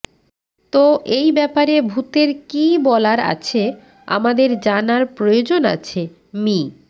তো এই ব্যাপারে ভূতের কি বলার আছে আমাদের জানার প্রয়োজন আছে মি